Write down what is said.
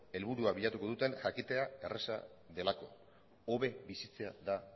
helburuak bilatu bilatuko duten jakitea erreza delako hobe bizitzea da